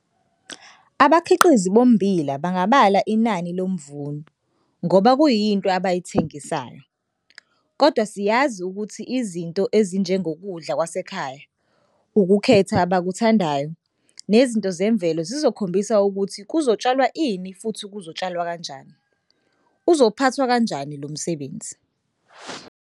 Abakhiqizi bommbila bangabala inani lomvuno ngoba kuyinto abayithengisayo. Kodwa siyazi ukuthi izinto ezinjengokudla kwasekhaya, ukukhetha abakuthandayo, nezinto zemvelo zizokhombisa ukuthi kuzotshalwa ini futhi kuzotshalwa kanjani, uzophathwa kanjani lo msebenzi.